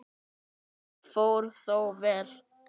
Allt fór þó vel.